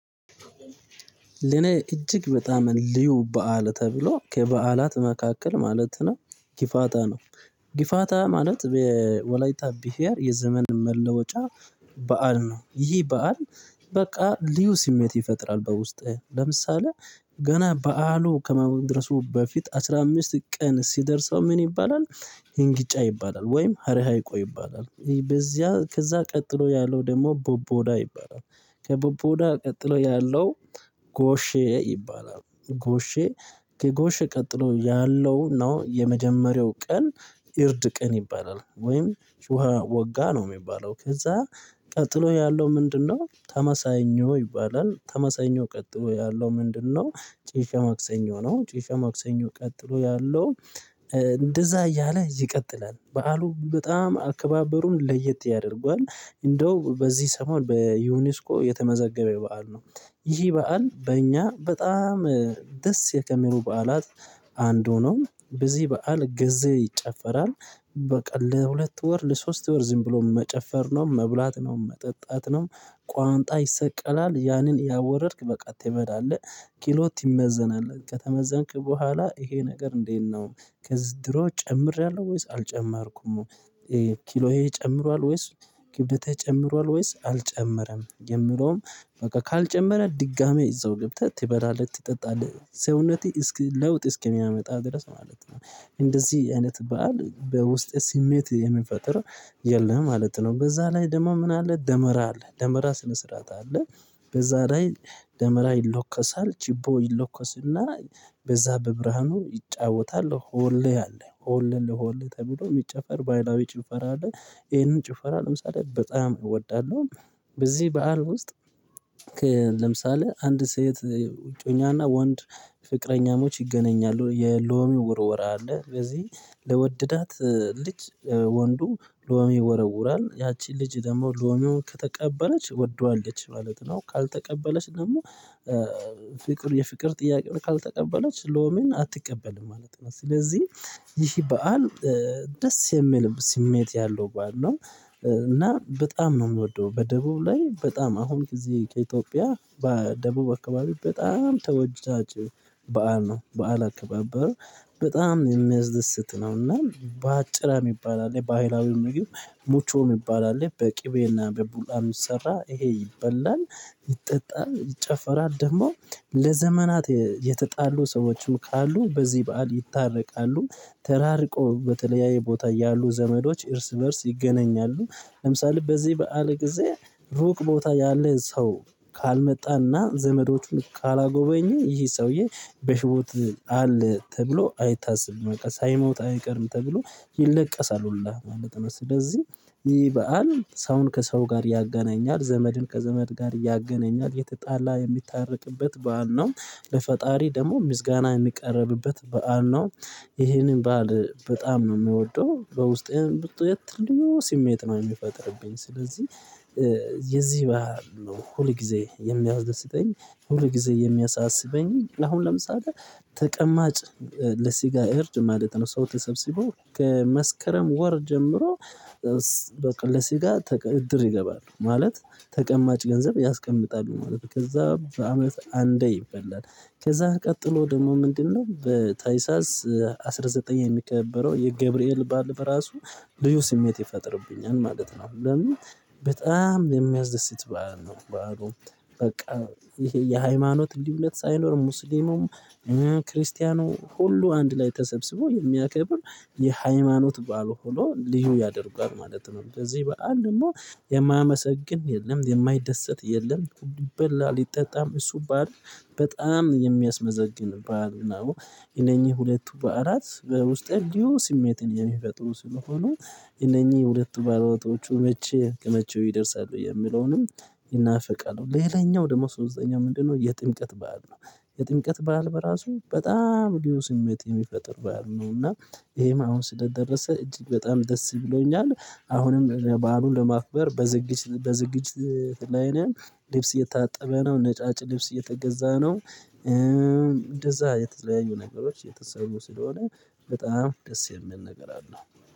ለኔ እጅግ በጣም ልዩ በዓል ተብሎ ከበዓላት መካከል ማለት ነው ጊፋታ ነው ጊፋታ ማለት ወላይታ ብሄር የዘመን መለወጫ በዓል ነው። ይህ በዓል በቃ ልዩ ስሜት ይፈጥራል። በውስጥህ ለምሳሌ ገና በዓሉ ከመድረሱ በፊት አስራ አምስት ቀን ሲደርሰው ምን ይባላል? ሄንጊጫ ይባላል ወይም ሀረሃይቆ ይባላል በዚያ ከዛ ቀጥሎ ያለው ደግሞ ቦቦዳ ይባላል። ከቦቦዳ ቀጥሎ ያለው ጎሼ ይባላል። ጎሼ ከጎሼ ቀጥሎ ያለው ነው የመጀመሪያው ቀን የርድቅ ይባላል። ወይም ውሃ ወጋ ነው የሚባለው። ከዛ ቀጥሎ ያለው ምንድነው? ተመሳኞ ይባላል። ተመሳኞ ቀጥሎ ያለው ምንድነው? ጭፈ ማክሰኞ ነው። ጭፈ ማክሰኞ ቀጥሎ ያለው እንደዛ እያለ ይቀጥላል። በዓሉ በጣም አከባበሩን ለየት ያደርጓል እንደው በዚህ ሰሞን በዩኒስኮ የተመዘገበው በዓል ነው። ይህ በዓል በእኛ በጣም ደስ ከሚሉ በዓላት አንዱ ሆኖ በዚህ በዓል ጊዜ ይጨፈራል። በቃ ለሁለት ወር ለሶስት ወር ዝም ብሎ መጨፈር ነው መብላት ነው መጠጣት ነው። ቋንጣ ይሰቀላል ያንን ያወረድክ በቃ ትበላለህ። ኪሎ ትመዘናለህ ከተመዘንክ በኋላ ይሄ ነገር እንዴት ነው? ከድሮ ጨምሬያለሁ ወይስ አልጨመርኩም? ኪሎዬ ጨምሯል ወይስ ክብደቴ ጨምሯል ወይስ አልጨመረም? የምለውም በቃ ካልጨመረ ድጋሚ እዛው ገብተህ ትበላለህ ትጠጣለህ ሰውነቴ እስኪ ለውጥ እስኪያመጣ ድረስ ማለት ነው። እንደዚህ አይነት በዓል በውስጤ ስሜት የሚፈጥር የለም ማለት ነው። በዛ ላይ ደሞ ምን አለ ደመራ አለ ደመራ ስነ ስርዓት አለ። በዛ ላይ ደመራ ይለኳሳል ችቦ ይለኳስና በዛ በብርሃኑ ይጫወታሉ። ሁሌ አለ ሆሌ እንደ ሆል ተብሎ የሚጨፈር ባህላዊ ጭፈራ አለ። ይሄንን ጭፈራ ለምሳሌ በጣም እወዳለሁ። በዚህ በዓል ውስጥ ለምሳሌ አንድ ሴት ዕጮኛና ወንድ ፍቅረኛሞች ይገናኛሉ የሎሚ ውርወራ አለ። በዚህ ለወደዳት ልጅ ወንዱ ሎሚ ይወረወራል ያቺ ልጅ ደግሞ ሎሜውን ከተቀበለች ወደዋለች ማለት ነው። ካልተቀበለች ደግሞ ፍቅር የፍቅር ጥያቄ ካልተቀበለች ሎሚን አትቀበልም ማለት ነው። ስለዚህ ይህ ባዓል ደስ የሚል ስሜት ያለው ባይሆን ነው። እና በጣም ነው የምወደው በደቡብ ላይ በጣም አሁን ከዚህ ከኢትዮጵያ በደቡብ አካባቢ በጣም ተወዳጂ ባዓል ነው። ባዓል አካባበር በጣም የሚያስድስት ነውና ባጭራ ሚባል አለ። ባህላዊ ምግብ ሙቾ የሚባል አለ በቅቤና በቡላ የሚሰራ ይሄ ይበላል። ይጠጣል ይጨፈራል ደግሞ ለዘመናት የተጣሉ ሰዎችን ካሉ በዚህ በዓል ይታረቃሉ። ተራርቆ በተለያየ ቦታ ያሉ ዘመዶች እርስ በእርስ ይገናኛሉ። ለምሳሌ በዚህ በዓል ጊዜ ሩቅ ቦታ ያለን ሰው ካልመጣና ዘመዶቹን ካልጎበኘ ይህ ሰውዬ በይህወት አለ ተብሎ አይታሰብም ሳይሞት አይቀርም ተብሎ ይለቀሳሉ ሁላ ማለት ነው። ስለዚህ ይህ በዓል ሰውን ከሰው ጋር ያጋናኛል ዘመድን ከዘመድ ጋር እያገናኛል የተጣላ የሚታረቅበት በዓል ነው። ለፈጣሪ ደግሞ ምስጋና የሚቀርብበት በዓል ነው። ይሄንን በዓል በጣም ነው ምወደው በውስጤም ልዩ ስሜት ነው የሚፈጥርብኝ። ስለዚህ የዚህ ባዓል ነው ሁል ጊዜ የሚያደስተኝ። ሁል ጊዜ የሚያሳስበኝ አሁን ለምሳሌ ተቀማጭ ለስጋ እርድ ማለት ነው ሰው ተሰብስበው ከመስከረም ወር ጀምሮ በቃ ለስጋ እድር ይገባሉ ማለት ተቀማጭ ገንዘብ ያስቀምጣሉ ማለት ነው። ከዛ በአመት አንዴ ይበላል። ከዛ ቀጥሎ ደግሞ ምንድነው? በታሳስ አስራ ዘጠኝ የሚከበረው የገብርኤል ባዓል ራሱ ልዩ ስሜት ይፈጥርብኛል ማለት ነው። ለምን በጣም የሚያስደስት ባዓል ነው። በቃ ይሄ የሃይማኖት ልዩነት ሳይኖር ሙስሊሙም ክርስቲያኑ ሁሉ አንድ ላይ ተሰብስቦ የሚያከብር የሃይማኖት ባዓል ሆኖ ልዩ ያደርጓል ማለት ነው። በዚህ ባዓል ደግሞ የማያመሰግን የለም የማይደሰት የለም። ይበላል ይጠጣል እሱ ባዓል በጣም የሚያስመሰግን ባዓል ነው። የነኚህ ሁለቱ ባዓላት በውስጤ ልዩ ስሜትን የሚፈጥሩ ስለሆኑ እነኚህ ሁለቱ ባዓላቶቹ መቼ ከመቼው ይደርሳሉ የሚለውንም ይናፈቃሉ ሌላኛው ደግሞ ሶስተኛው ምንድነው የጥምቀት በዓል ነው። የጥምቀት በዓል በራሱ በጣም ልዩ ስሜት የሚፈጥር በዓል ነው። እና ይሄም አሁን ስለደረስ እጅግ በጣም ደስ ይብሎኛል። አሁንም በዓሉን ለማክበር በዝግጅት ላይ ነን። የታጠበ ነው ነጫጭ ልብስ የተገዛ ነው። እንደዛ የተለያዩ ነገሮች የተሰሩ ስለሆነ በጣም ደስ የሚል ነገር አለው